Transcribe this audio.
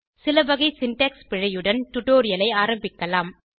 சில வகை சின்டாக்ஸ் பிழையுடன் டுடோரியலை ஆரம்பிக்கலாம்